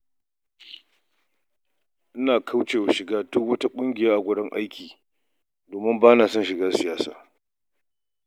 Ina kaucewa shiga duk wata ƙungiya ta wajen aiki domin ba na son shiga siyasa.